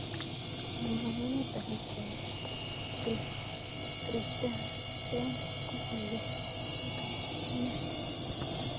Kamangunet ab pichait, Christiansen kokiyay ne?